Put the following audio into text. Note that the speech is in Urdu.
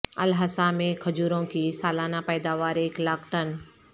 الاحسا میں کھجوروں کی سالانہ پیداوار ایک لاکھ ٹن